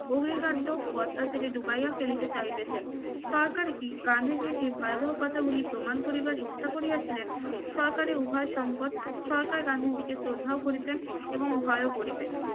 অগ্নিকাণ্ড ও অত্যাচারের ডুবাইয়া ফেলিতে চাইতেছেন সরকার কি গান্ধীজীর এই ভয়াবহ কথাগুলি প্রমাণ করিবার ইচ্ছা করিয়াছিলেন সরকারি উভয় সংকট সরকার গান্ধীজিকে শ্রদ্ধা ও করিতেন এবং ভয়ও করিতেন